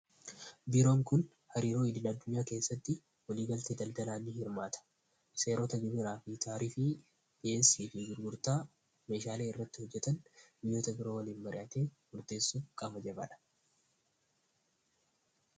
Biiroon kun hariiroo idil addunyaa keessatti waliigaltee daldalaa ni hirmaata. Seerota gurguraa fi taarifii, dhiyeessii fi gurgurtaa, meeshaalee irratti hojjetan biyyoota biroo waliin mari'atee qaama jabaadha.